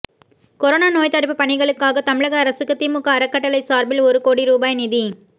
corona நோய்த் தடுப்பு பணிகளுக்காக தமிழக அரசுக்கு திமுக அறக்கட்டளை சார்பில் ஒரு கோடி ரூபாய் நிதி